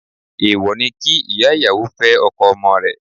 Èwò ni kí ìyá ìyàwó fẹ́ ọkọ ọmọ rẹ̀.